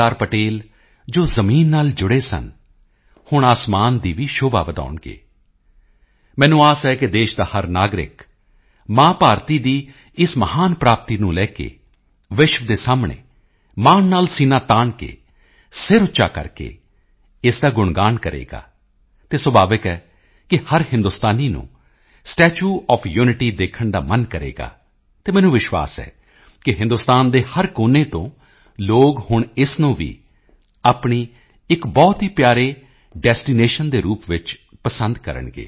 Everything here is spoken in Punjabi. ਪਟੇਲ ਜੋ ਜ਼ਮੀਨ ਨਾਲ ਜੁੜੇ ਸਨ ਹੁਣ ਅਸਮਾਨ ਦੀ ਵੀ ਸ਼ੋਭਾ ਵਧਾਉਣਗੇ ਮੈਨੂੰ ਆਸ ਹੈ ਕਿ ਦੇਸ਼ ਦਾ ਹਰ ਨਾਗਰਿਕ ਮਾਂ ਭਾਰਤੀ ਦੀ ਇਸ ਮਹਾਨ ਪ੍ਰਾਪਤੀ ਨੂੰ ਲੈ ਕੇ ਵਿਸ਼ਵ ਦੇ ਸਾਹਮਣੇ ਮਾਣ ਨਾਲ ਸੀਨਾ ਤਾਣ ਕੇ ਸਿਰ ਉੱਚਾ ਕਰਕੇ ਇਸ ਦਾ ਗੁਣਗਾਣ ਕਰੇਗਾ ਅਤੇ ਸੁਭਾਵਿਕ ਹੈ ਕਿ ਹਰ ਹਿੰਦੁਸਤਾਨੀ ਨੂੰ ਸਟੈਚੂ ਓਐਫ ਯੂਨਿਟੀ ਦੇਖਣ ਦਾ ਮਨ ਕਰੇਗਾ ਅਤੇ ਮੈਨੂੰ ਵਿਸ਼ਵਾਸ ਹੈ ਕਿ ਹਿੰਦੁਸਤਾਨ ਦੇ ਹਰ ਕੋਨੇ ਤੋਂ ਲੋਕ ਹੁਣ ਇਸ ਨੂੰ ਵੀ ਆਪਣੇ ਇੱਕ ਬਹੁਤ ਹੀ ਪਿਆਰੇ ਡੈਸਟੀਨੇਸ਼ਨ ਦੇ ਰੂਪ ਵਿੱਚ ਪਸੰਦ ਕਰਨਗੇ